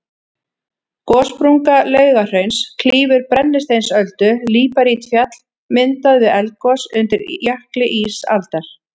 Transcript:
Gossprunga Laugahrauns klýfur Brennisteinsöldu, líparítfjall myndað við eldgos undir jökli ísaldar.